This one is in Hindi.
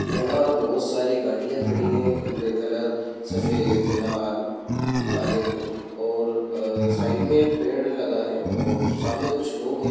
यहाँ बोहोत सारी गाड़ियां खड़ी हैं। जिनका कलर सफ़ेद लाल काले हैं और साइड में एक पेड़ लगा है और सामने कुछ लोग हैं।